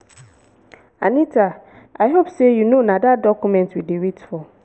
anita i hope say you no na dat document we dey wait for.